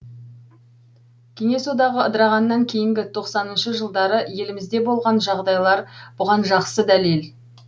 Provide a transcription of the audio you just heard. кеңес одағы ыдырағаннан кейінгі тоқсаныншы жылдары елімізде болған жағдайлар бұған жақсы дәлел